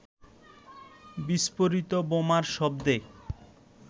বিস্ফোরিত বোমার শব্দে